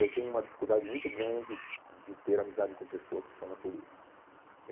Eu tenho uma dificuldade muito grande de ter amizade com pessoas que são da polícia.